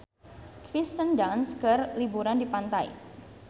Kirsten Dunst keur liburan di pantai